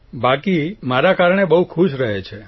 બાકી મારા કારણે બહુ ખુશ રહે છે